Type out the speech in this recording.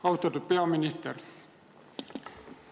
Austatud peaminister!